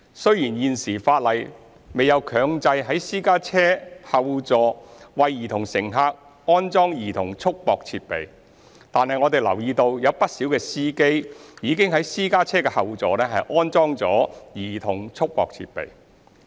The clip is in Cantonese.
雖然現時法例未有強制在私家車後座為兒童乘客安裝兒童束縛設備，但我們留意到不少司機已在私家車後座安裝兒童束縛設備。